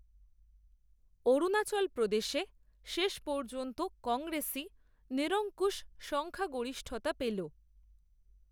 অরুণাচল প্রদেশে শেষ পর্যন্ত কংগ্রেসই, নিরঙ্কুশ সংখ্যাগরিষ্ঠতা পেল।